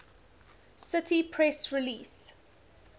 cite press release